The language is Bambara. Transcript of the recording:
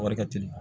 Wari ka teli